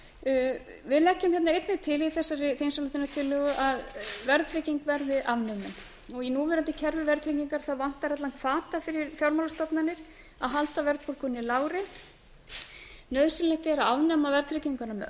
leggjum hérna einnig til í þegar þingsályktunartillögu að verðtrygging verði afnumin í núverandi kerfi verðtryggingar vantar allan hvata fyrir fjármálastofnanir að halda verðbólgunni lágri nauðsynlegt er að afnema verðtrygginguna með öllu